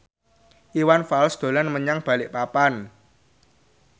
Iwan Fals dolan menyang Balikpapan